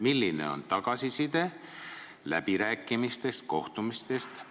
Milline on tagasiside läbirääkimistest ja kohtumistest?